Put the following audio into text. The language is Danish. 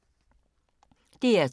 DR2